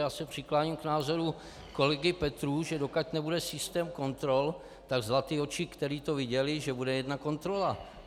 Já se přikláním k názoru kolegy Petrů, že dokud nebude systém kontrol, tak zlatý oči, které to viděly, že bude jedna kontrola.